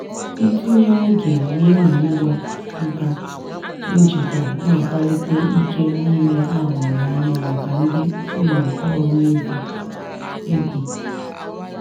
ntinye oge n'ịmụ ngwa nka njikwa na-akwalite ike niile a hụrụ anya maka ndị ụlọ ọrụ ego. ego.